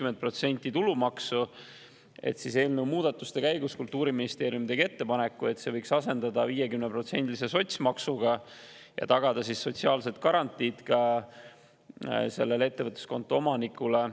Eelnõu muudatus käigus tegi Kultuuriministeerium ettepaneku, et selle võiks asendada 50%-lise sotsmaksuga, et tagada sotsiaalsed garantiid ka ettevõtluskonto omanikule.